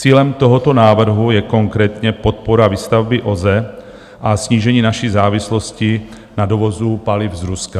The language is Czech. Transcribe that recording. Cílem tohoto návrhu je konkrétně podpora výstavby OZE a snížení naší závislosti na dovozu paliv z Ruska.